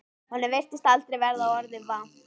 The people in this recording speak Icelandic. Honum virtist aldrei verða orða vant.